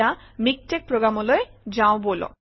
MiKTeX প্ৰগ্ৰামলৈ যাওঁ বলক